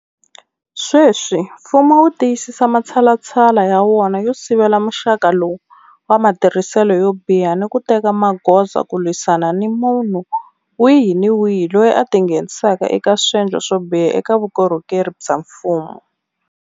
Sweswi mfumo wu tiyisisa matshalatshala ya wona yo sivela muxaka lowu wa matirhiselo yo biha ni ku teka magoza ku lwisana ni munhu wihi ni wihi loyi a tingheni saka eka swendlo swo biha eka vukorhokeri bya mfumo.